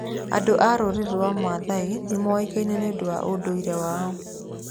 Andũ a rũrĩrĩ rwa Maathai nĩ moĩkaine nĩ ũndũ wa ũndũire wao.